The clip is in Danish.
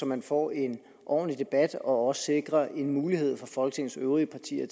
man får en ordentlig debat og man også sikrer en mulighed for folketingets øvrige partier